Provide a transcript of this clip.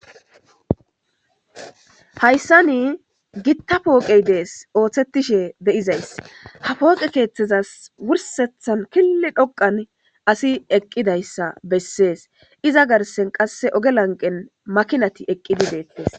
Haysan Gita poogey des ha pooqe keethasi wursethan kil dhoqan asiy eqidayea beses, iza garden qase oge lanqen makinati eqidi detes